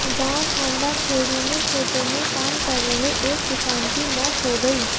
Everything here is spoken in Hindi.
गांव खांडा खेड़ी में खेतों में काम कर रहे एक किसान की मौत हो गई